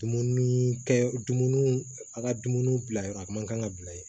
Dumuni kɛ dumuniw a ka dumuni bila yɔrɔ a man kan ka bila yen